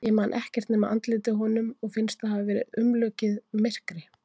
Ég man ekkert nema andlitið á honum og finnst það hafa verið umlukið myrkri.